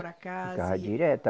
Para casa e. Ficava direto a